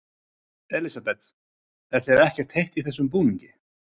Elísabet: Er þér ekkert heitt í þessum búningi?